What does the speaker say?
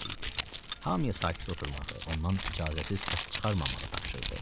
Hamıya sakit oturmağı, ondan icazəsiz səs çıxarmamağı tapşırdı.